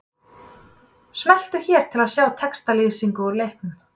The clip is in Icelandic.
Smelltu hér til að sjá textalýsingu úr leiknum